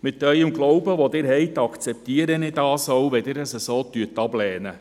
Wegen Ihres Glaubens, den Sie haben, akzeptiere ich es, wenn Sie diesen Vorstoss ablehnen.